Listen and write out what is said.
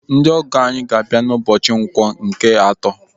Ndị ọgọ anyị ga-abịa n'ụbọchị Nkwọ nke atọ.